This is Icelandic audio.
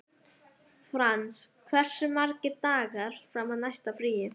Frans, hversu margir dagar fram að næsta fríi?